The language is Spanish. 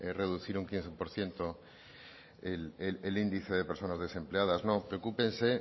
reducir un quince por ciento el índice de personas desempleadas no preocúpense